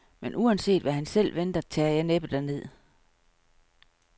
Men uanset, hvad han selv venter, tager jeg næppe derned.